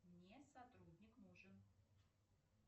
мне сотрудник нужен